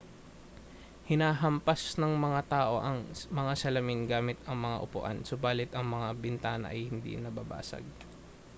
hinahampas ng mga tao ang mga salamin gamit ang mga upuan subalit ang mga bintana ay hindi nababasag